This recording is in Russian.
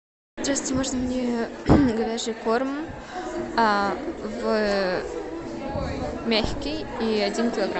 здравствуйте можно мне говяжий корм в мягкий и один килограмм